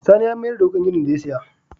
Sani ya mayar da wuƙar ginin da ya saya.